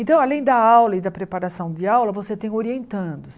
Então, além da aula e da preparação de aula, você tem orientandos.